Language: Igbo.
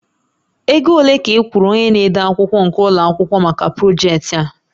Ego ole ka ị kwụrụ onye na-ede akwụkwọ nke ụlọ akwụkwọ maka projektị a?